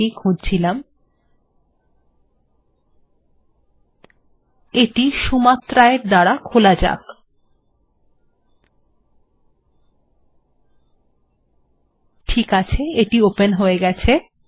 ঠিক আছে এটি হয়ে গেছে